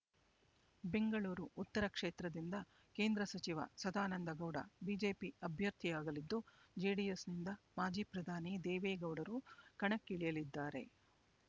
ಬೆಂಗಳೂರು ಉತ್ತರ ಕ್ಷೇತ್ರದಿಂದ ಕೇಂದ್ರ ಸಚಿವ ಸದಾನಂದಗೌಡ ಬಿಜೆಪಿ ಅಭ್ಯರ್ಥಿಯಾಗಲಿದ್ದು ಜೆಡಿಎಸ್‌ನಿಂದ ಮಾಜಿ ಪ್ರಧಾನಿ ದೇವೇಗೌಡರು ಕಣಕ್ಕಿಳಿಯಲಿದ್ದಾರೆ